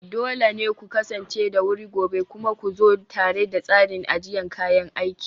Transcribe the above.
dole ne ku kasance da wuri gobe, kuma ku zo tare da tsarin ajiyar kayan aiki